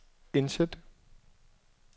indsæt